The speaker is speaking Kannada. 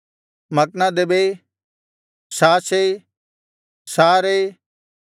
ಮಕ್ನದೆಬೈ ಶಾಷೈ ಶಾರೈ